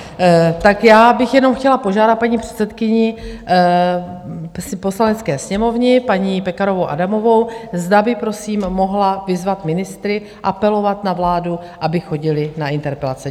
Tak já bych jenom chtěla požádat paní předsedkyni Poslanecké sněmovny, paní Pekarovou Adamovou, zda by prosím mohla vyzvat ministry, apelovat na vládu, aby chodili na interpelace.